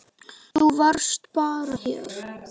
Þú varst bara hér.